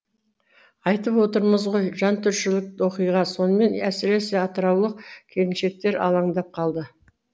айтып отырмыз ғой жантүршігерлік оқиға сонымен әсіресе атыраулық келіншектер алаңдап қалды